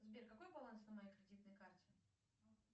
сбер какой баланс на моей кредитной карте